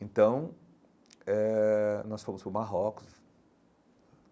Então, eh nós fomos para o Marrocos.